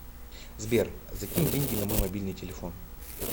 сбер закинь деньги на мой мобильный телефон